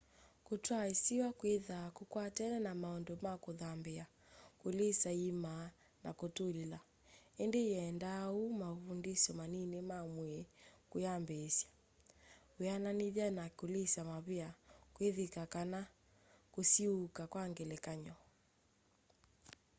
kutwaa isiwa kwithwaa kukwatene na maundu ma kuthambia kulisa iima na kutulila -- indi yendaa o mauvundisyo manini ma mwii kuyambiisya weananithya na kulisa mavia kwithika kana kusiuuka kwa ngelekany'o